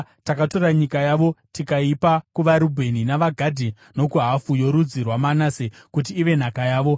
Takatora nyika yavo tikaipa kuvaRubheni, navaGadhi nokuhafu yorudzi rwaManase kuti ive nhaka yavo.